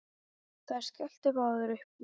Þær skelltu báðar upp úr.